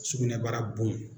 Sugunɛbara bon.